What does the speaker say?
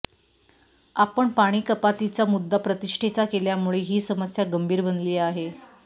आपण पाणीकपातीचा मुद्दा प्रतिष्ठेचा केल्यामुळे ही समस्या गंभीर बनली आहे